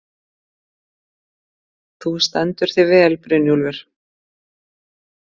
Þú stendur þig vel, Brynjólfur!